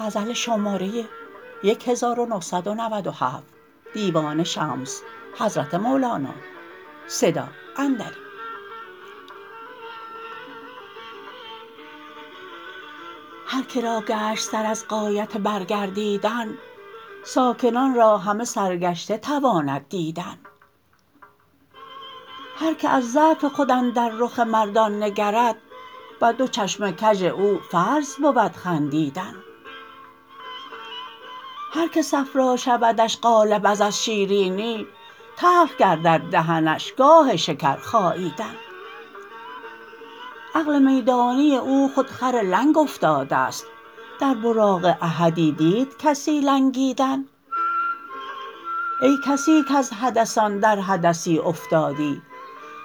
هر که را گشت سر از غایت برگردیدن ساکنان را همه سرگشته تواند دیدن هر کی از ضعف خود اندر رخ مردان نگرد بر دو چشم کژ او فرض بود خندیدن هر کی صفرا شودش غالب از شیرینی تلخ گردد دهنش گاه شکر خاییدن عقل میدانی او خود خر لنگ افتاده است در براق احدی دید کسی لنگیدن ای کسی کز حدثان در حدثی افتادی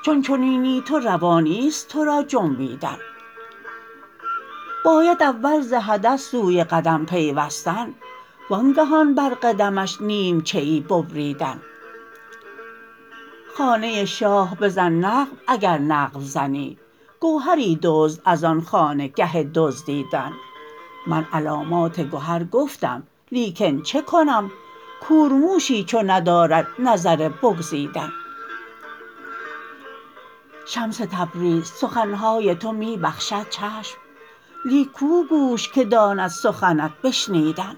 چون چنینی تو روا نیست تو را جنبیدن باید اول ز حدث سوی قدم پیوستن وانگهان بر قدمش نیمچه ای ببریدن خانه شاه بزن نقب اگر نقب زنی گوهری دزد از آن خانه گه دزدیدن من علامات گهر گفتم لیکن چه کنم کورموشی چو ندارد نظر بگزیدن شمس تبریز سخن های تو می بخشد چشم لیک کو گوش که داند سخنت بشنیدن